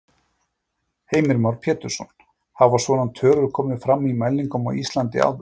Heimir Már Pétursson: Hafa svona tölur komið fram í mælingum á Íslandi áður?